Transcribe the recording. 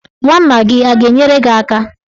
Nwanna gị a ga-enyere gị aka?